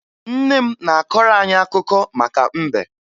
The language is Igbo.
Nne m na-akọrọ anyị akụkọ maka mbe